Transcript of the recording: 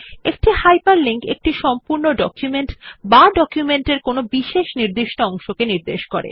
একটি হাইপারলিংক একটি সম্পূর্ণ ডকুমেন্ট বা ডকুমেন্ট এর কোনো নির্দিষ্ট অংশকে নির্দেশ করে